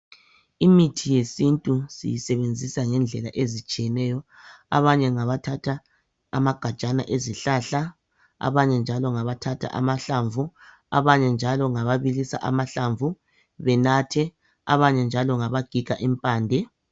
Imithi yesintu siyisebenzisa ngedlela ezihlukeneyo. Abanye ngaba thatha amagajana ezihlahla, abanye njalo ngabathatha amahlamvu, abanye njalo ngababilisa amahlamvu benathe, abanye njalo ngabagiga imphande .